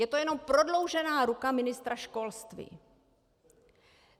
Je to jenom prodloužená ruka ministra školství.